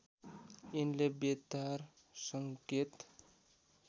यिनले बेतार संकेत